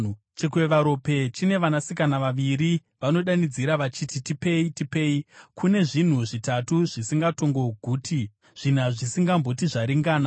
“Chikwevaropa chine vanasikana vaviri. Vanodanidzira vachiti, ‘Tipei! Tipei!’ “Kune zvinhu zvitatu zvisingatongoguti, zvina zvisingamboti, ‘Zvaringana!’: